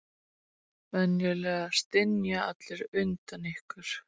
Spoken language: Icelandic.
Venjulega stynja allir undan ykkur.